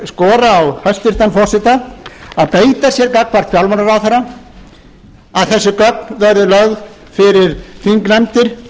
skora á hæstvirtan forseta að beita sér gagnvart fjármálaráðherra að þessi gögn verði lögð fyrir þingnefndir